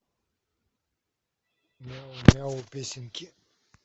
мяу мяу песенки